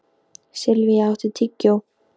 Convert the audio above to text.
Silvía, áttu tyggjó?